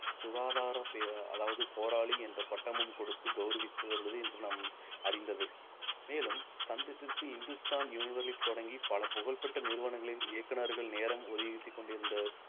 சுகாதார பே~ அதாவது போராளி என்ற பட்டமும் கொடுத்து கௌரவித்து வந்தது இன்று நம் அறிந்ததே மேலும் சந்திப்பிற்கு இந்துஸ்தான் யூனிவர்லிப் தொடங்கி பல புகழ்பெற்ற நிறுவனங்களின் இயக்குனர்கள் நேரம் ஒதுக்கிக் கொண்டிருந்த